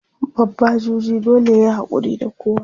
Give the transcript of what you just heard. babba juji dole yayi hakuri da kowa